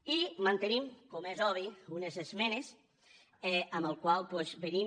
i mantenim com és obvi unes esmenes amb què venim